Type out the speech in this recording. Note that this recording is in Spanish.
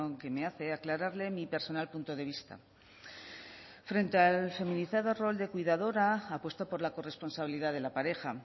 que me hace aclararle mi personal punto de vista frente al feminizado rol de cuidadora apuesto por la corresponsabilidad de la pareja